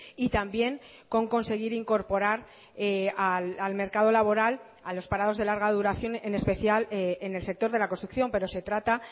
y también con conseguir incorporar al mercado laboral a los parados de larga duración en especial en el sector de la construcción pero se trata